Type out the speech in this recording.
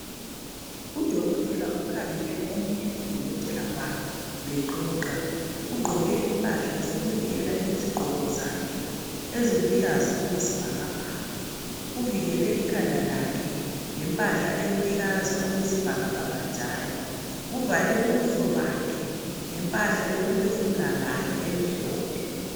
Udokotela ukhangele omunye udokotela wakhe bexoxa ugqoke impahla zokuvikela izigqoko zakhe eziluhlaza okwesibhakabhaka uvikele ikhanda lakhe ngempahla eluhlaza okwesibhakabhaka njalo uvale ubuso bakhe ngempahla yokuphefumula layo emhlophe.